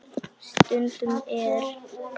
Stundum er